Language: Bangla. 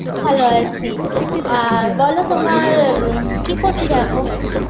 ভালো আছি আর বলো তোমার কি করছো এখন